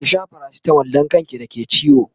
ki Sha paracetamol Dan kan ki da ke ciwo!